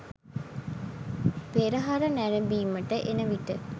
පෙරහර නැරඹීමට එනවිට